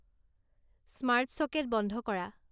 smart socket বন্ধ কৰা